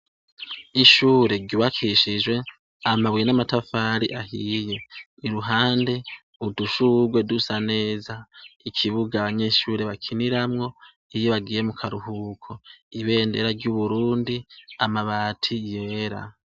Ishure ryubakishijwe amabuye n' amatafari ahiye iruhande udushugwe dusa neza ikibuga abanyeshure bakiniramwo iyo bagiye mukaruhuko ibendera ry' Uburundi amabati yera.